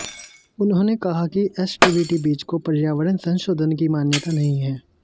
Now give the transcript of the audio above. उन्होंने कहा कि एसटीबीटी बीज को पर्यावरण संशोधन की मान्यता नहीं है